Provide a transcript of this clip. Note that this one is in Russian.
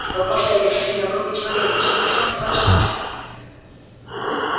вы просто омерзительно грубый человек зачем вы всё это ворошите